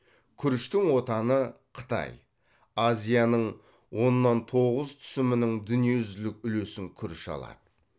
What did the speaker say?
күріштің отаны қытай азияның оннан тоғыз түсімінің дүниежүзілік үлесін күріш алады